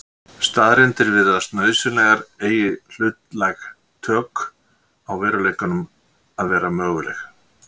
staðreyndir virðast nauðsynlegar eigi hlutlæg tök á veruleikanum að vera möguleg